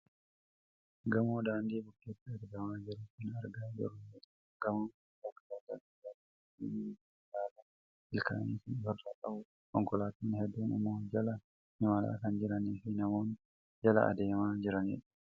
Gamoo daandii bukkeetti argamaa jiru kan argaa jirru yoo ta'u, gamoon kun bakka daldala garaa garaa fi mana yaalaa ilkaanii kan ofirraa qabudha. Konkolaataan hedduun immoo jala imalaa kan jiranii fi namoonni jala adeemaa jiranidha.